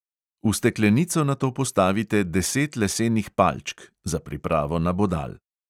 V steklenico nato postavite deset lesenih palčk (za pripravo nabodal).